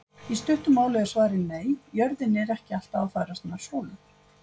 Í stuttu máli er svarið nei, jörðin er ekki alltaf að færast nær sólu.